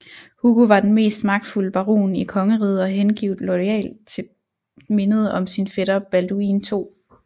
Hugo var den mest magtfulde baron i kongeriget og hengivent loyal til mindet om sin fætter Balduin 2